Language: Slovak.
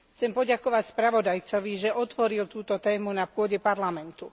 Chcem poďakovať spravodajcovi, že otvoril túto tému na pôde Parlamentu.